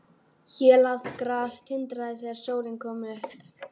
Hélað gras tindraði þegar sólin kom upp.